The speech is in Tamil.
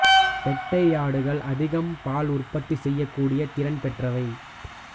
பெட்டை ஆடுகள் அதிகம் பால் உற்பத்தி செய்யக்கூடிய திறன் பெற்றவை